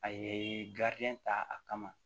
A ye ta a kama